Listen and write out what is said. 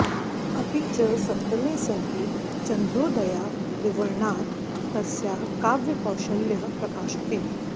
अपि च सप्तमे सर्गे चन्द्रोदयादिवर्णनात् तस्याः काव्यकौशल्यः प्रकाशते